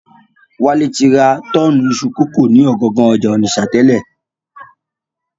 Wálé ti ra tọ́ọ̀nù iṣu kókò ni ọ̀gangan ọjà Ònìṣà tẹ́lẹ̀